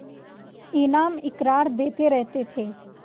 इनाम इकराम देते रहते थे